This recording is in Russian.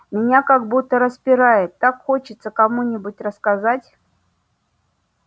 меня как будто распирает так хочется кому-нибудь рассказать